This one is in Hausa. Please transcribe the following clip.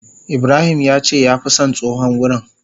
Ibrahim yace ya fi son tsohon wurin.